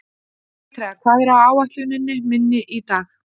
Petrea, hvað er á áætluninni minni í dag?